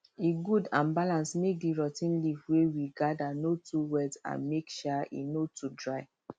e good and balance make the rot ten leaf wey we gather no too wet and make um e no too dry